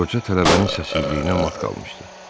Qoca tələbənin səssizliyinə mat qalmışdı.